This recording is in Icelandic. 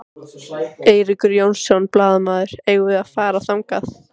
Eiríkur Jónsson, blaðamaður: Eigum við að fara þangað?